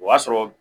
O y'a sɔrɔ